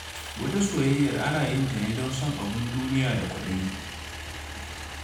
Wata soyayyar ana yin ta ne don son abin duniya da kwaɗayi.